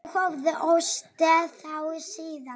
Ég hafði óttast þá síðan.